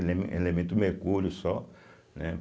Elemen elemento mercúrio só, né?